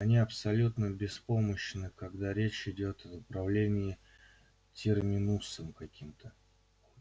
они абсолютно беспомощны когда речь идёт об управлении терминусом